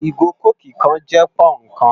Igó kókí kán jè pònnú kán